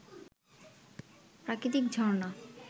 প্রাকৃতিক ঝর্ণা